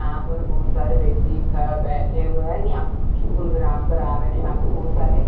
यहां पर बहुत सारे व्यक्ति ख बैठे हुए हैं यहां पर कुछ प्रोग्राम करा रहे हैं यहां पर बहुत सारे।